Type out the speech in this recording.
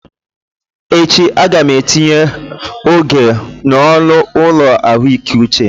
Echi, a ga m etinye oge nụọ n'ụlọ ahụike uche